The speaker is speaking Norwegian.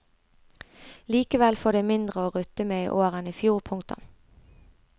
Likevel får det mindre å rutte med i år enn i fjor. punktum